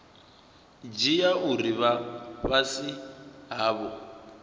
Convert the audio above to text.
dzhia uri vha fhasi havho